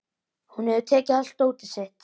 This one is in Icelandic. Hún hefur tekið allt dótið sitt.